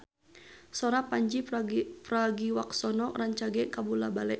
Sora Pandji Pragiwaksono rancage kabula-bale